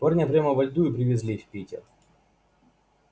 парня прямо во льду и привезли в питер